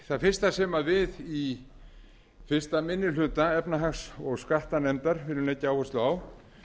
það fyrsta sem við í fyrstu minni hluta efnahags og skattanefndar viljum leggja áherslu á